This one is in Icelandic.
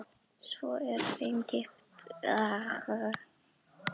Svo er þeim kippt úr augsýn.